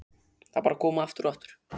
Þau bara koma, aftur og aftur.